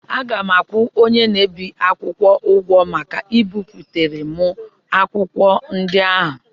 Aga m akwụ onye na-ebi akwụkwọ ụgwọ maka ibipụtara m akwụkwọ ndị ahụ.